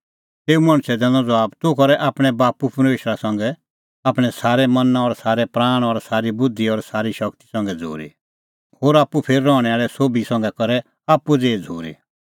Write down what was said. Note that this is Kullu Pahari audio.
तेऊ मणछै दैनअ ज़बाब तूह करै आपणैं बाप्पू परमेशरा संघै आपणैं सारै मना और सारै प्राण और सारी बुधि और सारी शगती संघै झ़ूरी होर आप्पू फेर रहणैं आल़ै होरी संघै बी करै आप्पू ज़ेही झ़ूरी